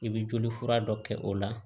I bɛ joli fura dɔ kɛ o la